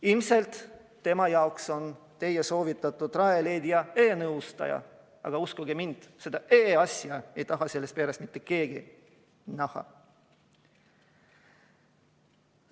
Ilmselt tema jaoks on teie soovitatud Rajaleidja e-nõustaja, aga uskuge mind, seda e-asja ei taha selles peres mitte keegi näha.